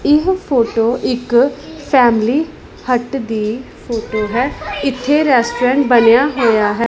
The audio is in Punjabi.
ਇਹ ਫੋਟੋ ਇੱਕ ਫੈਮਲੀ ਹੱਟ ਦੀ ਫੋਟੋ ਹੈ ਇਥੇ ਰੈਸਟੋਰੈਂਟ ਬਣਿਆ ਹੋਇਆ ਹੈ।